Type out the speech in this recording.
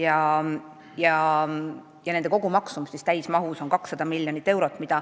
Olemasolev Vene rööpmelaiusega raudtee vajab täismahus uuendamiseks 200 miljonit eurot.